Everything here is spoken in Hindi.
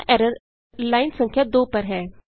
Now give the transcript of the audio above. यहाँ एररर लाइन संख्या 2 पर है